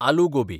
aloo gobi